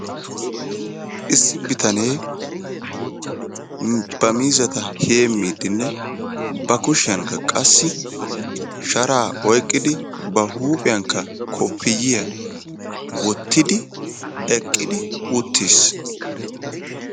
issi biyanee ba miizzata heemidinne ba kuushiyaankka qassi sharaa oyqqidi ba huuphiyankka koppiyiyaa woottidi eqqidi uttiis.